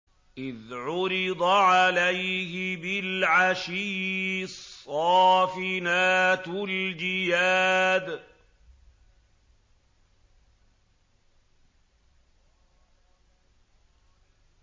إِذْ عُرِضَ عَلَيْهِ بِالْعَشِيِّ الصَّافِنَاتُ الْجِيَادُ